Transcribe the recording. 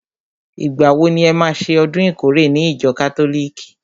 Ìgbà wo ni e má ṣe ọdún ìkórè ní ìjọ kátólìkì?